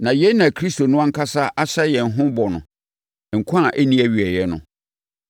Na yei na Kristo no ankasa ahyɛ yɛn ho bɔ no, nkwa a ɛnni awieeɛ no.